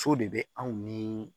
So de bɛ anw ni